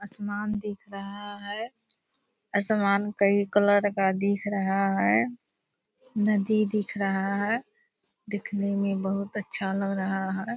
आसमान दिख रहा है आसमान कई कलर का दिख रहा है नदी दिख रहा है दिखने मे बहुत अच्छा लग रहा है।